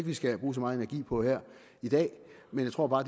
vi skal bruge så meget energi på her i dag men jeg tror bare